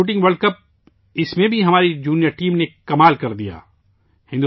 junior shooting world cup اس میں بھی ہماری جونیئر ٹیم نے کمال کردیا